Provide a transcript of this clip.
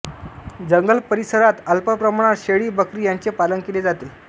जंगल परिसरात अल्पप्रमाणात शेळी बकरी यांचे पालन केले जाते